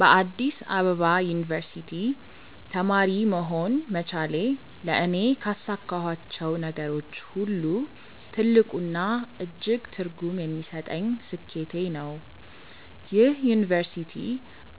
በአዲስ አበባ ዩኒቨርሲቲ (Addis Ababa University) ተማሪ መሆን መቻሌ ለእኔ ካሳካኋቸው ነገሮች ሁሉ ትልቁና እጅግ ትርጉም የሚሰጠኝ ስኬቴ ነው። ይህ ዩኒቨርሲቲ